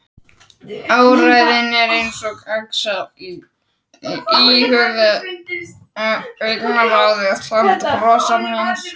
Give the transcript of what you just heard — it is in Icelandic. Áræðinn eins og Axel en íhugulli, augnaráðið samt, brosið annað.